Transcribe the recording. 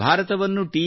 ಭಾರತವನ್ನು ಟಿ